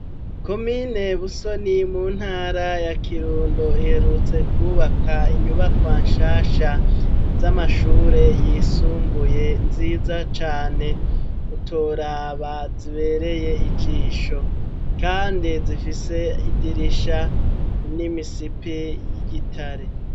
Ku mine busoni mu ntara ya kirundo iherutse kubaka inyubakwa nshasha z'amashure yisumbuye nziza cane utoraba zibereye ijisho, kandi zifise idirisha n'imisipi y'igitare.